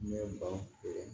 Ne ye ban pewu